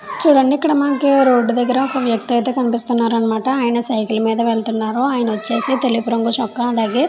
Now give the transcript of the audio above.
చూడండి మనకి రోడ్డు దగ్గర ఒక వ్యక్తి అయితే కనిపిస్తున్నాడు. అని మాట ఆయన సైకిల్ మీద వెళుతున్నాడు అయినా వచ్చేసి తెలుపు రంగు చొక్కా --